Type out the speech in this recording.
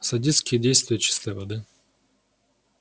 садистские действия чистой воды